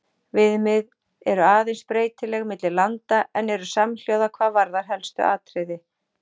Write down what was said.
Viðmið eru aðeins breytileg milli landa en eru samhljóða hvað varðar helstu atriði.